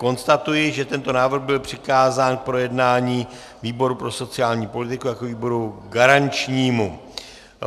Konstatuji, že tento návrh byl přikázán k projednání výboru pro sociální politiku jako výboru garančnímu.